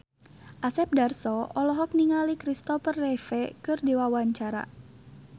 Asep Darso olohok ningali Christopher Reeve keur diwawancara